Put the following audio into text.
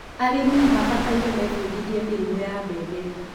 arĩmi mabataire mebudithie mĩrimũ ya mbembe